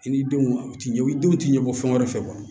I ni denw u ti ɲɛ i denw tɛ ɲɛbɔ fɛn wɛrɛ fɛ